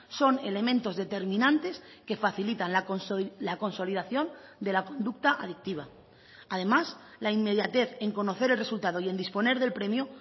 son elementos determinantes que facilitan la consolidación de la conducta adictiva además la inmediatez en conocer el resultado y en disponer del premio